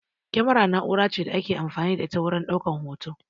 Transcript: Kyamara na'ura ce da ake amfani da ita wurin ɗaukan hoto